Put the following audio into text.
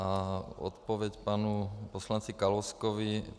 A odpověď panu poslanci Kalouskovi.